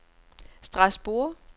Strasbourg